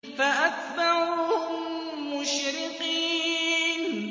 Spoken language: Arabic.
فَأَتْبَعُوهُم مُّشْرِقِينَ